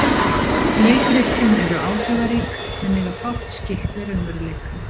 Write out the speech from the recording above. Leikritin eru áhrifarík en eiga fátt skylt við raunveruleikann.